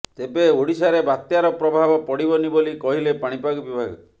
ତେବେ ଓଡିଶାରେ ବାତ୍ୟାର ପ୍ରଭାବ ପଡିବନି ବୋଲି କହିଲେ ପାଣିପାଗ ବିଭାଗ